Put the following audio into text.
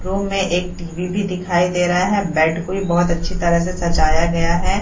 Room में एक TV. भी दिखाई दे रहा है। बेड को भी बहुत अच्छी तरह से सजाया गया है।